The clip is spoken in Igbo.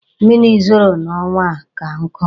Mmiri zoro n'ọnwa a ka nkụ.